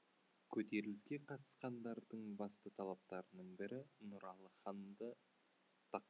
көтеріліске қатысқандардың басты талаптарының бірі нұралы ханды тақтан